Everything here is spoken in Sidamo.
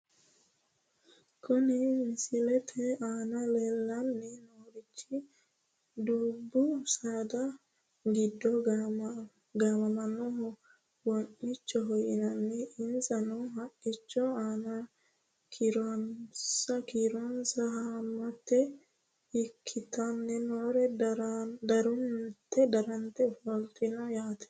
Kuni misilete aana leellanni noorichi dubbu saada giddo gaamamannohu wee'nicho yinanniho. insano haqqichote aana kiironsa haammata ikkitinori diranta ofoltino yaate.